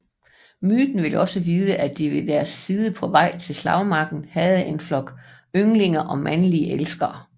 Myten vil også vide at de ved deres side på vej til slagmarken havde en flok ynglinge og mandlige elskere